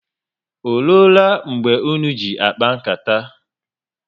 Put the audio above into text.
Oruola mgbe ụnụ ji akpa nkata?